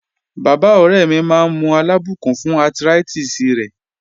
Baba ore mi maa n mu alabukun fun arthritis re